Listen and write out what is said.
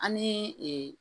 An ni ee